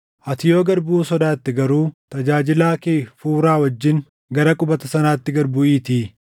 Ati yoo gad buʼuu sodaatte garuu tajaajilaa kee Fuuraa wajjin gara qubata sanaatti gad buʼiitii